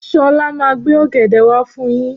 Ṣọlá máa gbé ọ̀gẹ̀dẹ̀ wá fún yín.